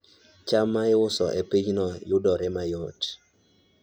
cham ma iuso e pinyno yudore mayot